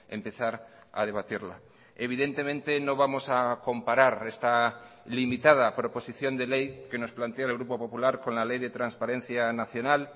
empezar a debatirla evidentemente no vamos a comparar esta limitada proposición de ley que nos plantea el grupo popular con la ley de transparencia nacional